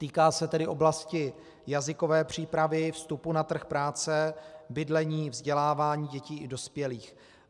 Týká se tedy oblasti jazykové přípravy, vstupu na trh práce, bydlení, vzdělávání dětí i dospělých.